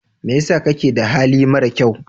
Me yasa kake da hali marakyau.